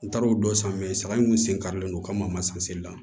N taara o don san sara in kun sen karilen don ka masinda